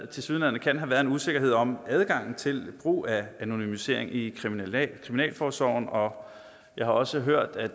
tilsyneladende kan have været en usikkerhed om adgangen til brug af anonymisering i kriminalforsorgen og jeg har også hørt og